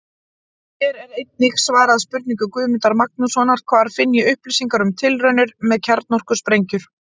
Hér er einnig svarað spurningu Guðmundar Magnússonar: Hvar finn ég upplýsingar um tilraunir með kjarnorkusprengjur?